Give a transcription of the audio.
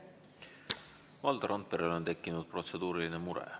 Valdo Randperel on tekkinud protseduuriline mure.